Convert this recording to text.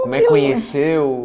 Como é que conheceu?